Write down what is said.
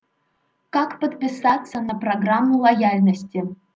как подписаться на программу лояльности